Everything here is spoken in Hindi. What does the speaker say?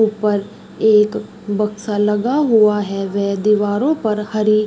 ऊपर एक बक्सा लगा हुआ है। वे दीवारों पर हरी --